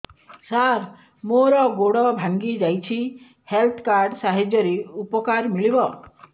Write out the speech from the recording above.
ସାର ମୋର ଗୋଡ଼ ଭାଙ୍ଗି ଯାଇଛି ହେଲ୍ଥ କାର୍ଡ ସାହାଯ୍ୟରେ ଉପକାର ମିଳିବ